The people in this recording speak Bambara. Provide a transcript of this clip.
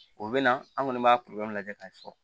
O bɛ na an kɔni b'a lajɛ k'a fɔ